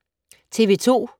TV 2